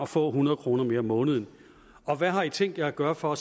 få hundrede kroner mere om måneden og hvad har i tænkt jer at gøre for